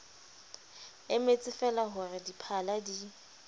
emetsefeela ho re diphala di